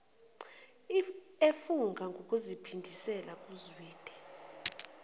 efunga ngokuziphindisela kuzwide